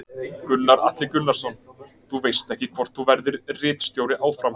Gunnar Atli Gunnarsson: Þú veist ekki hvort þú verðir ritstjóri áfram?